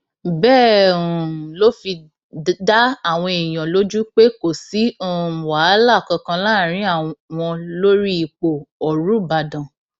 bẹẹ um ló fi dá àwọn èèyàn lójú pé kò sí um wàhálà kankan láàrin àwọn lórí ipò ọrúbàdàn